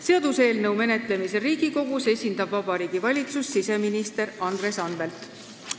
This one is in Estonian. Seaduseelnõu menetlemisel Riigikogus esindab Vabariigi Valitsust siseminister Andres Anvelt.